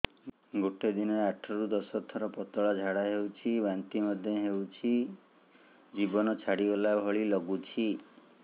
ଗୋଟେ ଦିନରେ ଆଠ ରୁ ଦଶ ଥର ପତଳା ଝାଡା ହେଉଛି ବାନ୍ତି ମଧ୍ୟ ହେଉଛି ଜୀବନ ଛାଡିଗଲା ଭଳି ଲଗୁଛି